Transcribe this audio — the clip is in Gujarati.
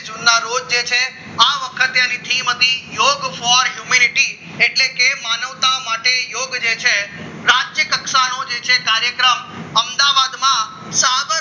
જુના રોજ જે છે આ વખતે તેની શ્રીમતી commnuity એટલે કે માનવતા માટે યોગ જે છે રાજ્ય કક્ષાનો જે છે કાર્યક્રમ અમદાવાદમાં સાબરમતી